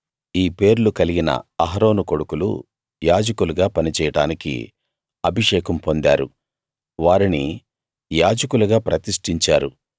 ఈ పేర్లు కలిగిన అహరోను కొడుకులు యాజకులుగా పనిచేయడానికి అభిషేకం పొందారు వారిని యాజకులుగా ప్రతిష్టించారు